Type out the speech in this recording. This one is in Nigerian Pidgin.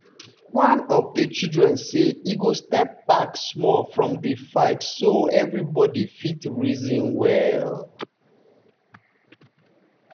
one of the children say e go step back small from di fight so everybody fit reason well.